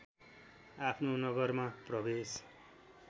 आफ्नो नगरमा प्रवेश